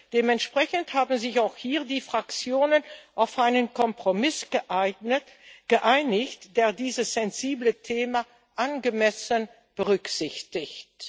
Dementsprechend haben sich auch hier die Fraktionen auf einen Kompromiss geeinigt, der dieses sensible Thema angemessen berücksichtigt.